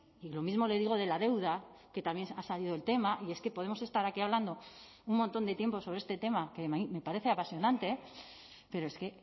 y lo mismo le digo de la deuda que también ha salido el tema y es que podemos estar aquí hablando un montón de tiempo sobre este tema que me parece apasionante pero es que